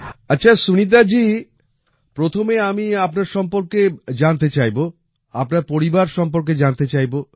আচ্ছা সুনীতা জি প্রথমে আমি আপনার সম্বন্ধে জানতে চাইব আপনার পরিবার সম্বন্ধে জানতে চাইব